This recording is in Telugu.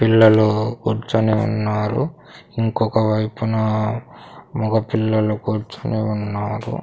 పిల్లలు కూర్చొని ఉన్నారు ఇంకొక వైపున మగపిల్లలు కూర్చొని ఉన్నారు.